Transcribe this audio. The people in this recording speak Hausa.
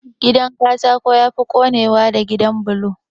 Gidan Katako yafi konewa da gidan bulo